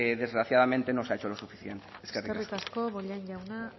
desgraciadamente no se ha hecho lo suficiente eskerrik asko eskerrik asko bollain jauna